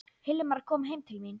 Hilmar kom heim til mín.